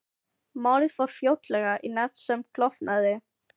Málið fór fljótlega í nefnd sem klofnaði.